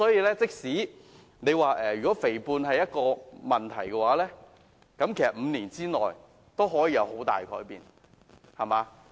假設肥胖真的是一個問題，其實5年內也可以有很大改變。